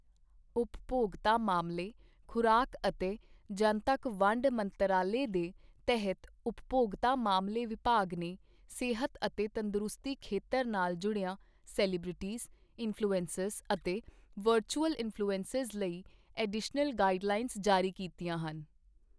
ਉਪਭੋਗਤਾ ਮਾਮਲੇ, ਖੁਰਾਕ ਅਤੇ ਜਨਤਕ ਵੰਡ ਮੰਤਰਾਲੇ ਦੇ ਤਹਿਤ ਉਪਭੋਗਤਾ ਮਾਮਲੇ ਵਿਭਾਗ ਨੇ ਸਿਹਤ ਅਤੇ ਤੰਦਰੁਸਤੀ ਖੇਤਰ ਨਾਲ ਜੁੜੀਆਂ ਸੈਲੀਬ੍ਰਿਟੀਜ਼, ਇਨਫਲੂਐਂਸਰ ਅਤੇ ਵਰਚੁਅਲ ਇਨਫਲੂਐਂਸਰ ਲਈ ਐਡੀਸ਼ਨਲ ਗਾਈਡਲਾਈਂਸ ਜਾਰੀ ਕੀਤੀਆਂ ਹਨ।